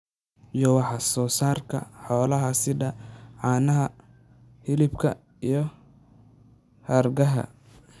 iyo wax soo saarka xoolaha sida caanaha, hilibka, iyo hargaha.